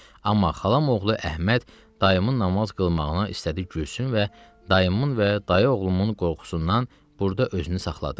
Amma xalam oğlu Əhməd dayımın namaz qılmağına istədi gülsün və dayımın və dayıoğlumun qorxusundan burda özünü saxladı.